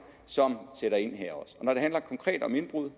som sætter ind her og når det handler konkret om indbrud